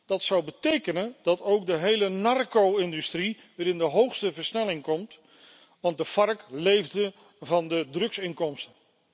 Dat zou betekenen dat ook de hele narco industrie weer in de hoogste versnelling komt, want de FARC leefde van de drugsinkomsten.